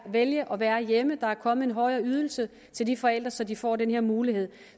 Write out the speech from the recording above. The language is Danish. vælge at være hjemme der er kommet en højere ydelse til de forældre så de får den her mulighed